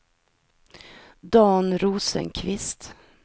Dan Rosenqvist